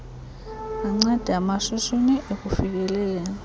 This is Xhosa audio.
banceda amashishini ekufikeleleni